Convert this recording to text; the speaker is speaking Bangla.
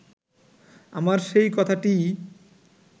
আমার সেই কথাটিই